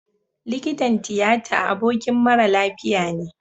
Likitan tiyata abokin mara lafiya ne